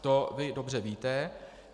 To vy dobře víte.